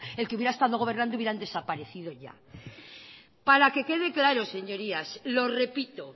el que hubiera estado gobernando hubieran desaparecido ya para que quede claro señorías lo repito